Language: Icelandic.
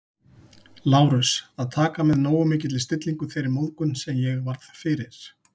Lárus, að taka með nógu mikilli stillingu þeirri móðgun, sem ég varð fyrir